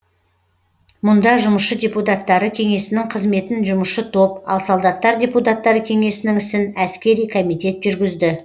мұнда жұмысшы депутаттары кеңесінің қызметін жұмысшы топ ал солдаттар депутаттары кеңесінің ісін әскери комитет жүргізді